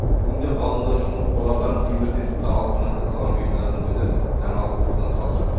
бүгінде ғалымдар үшін қоладан темірден тіпті алтыннан жасалған бұйымдардың өзі жаңалық болудан қалды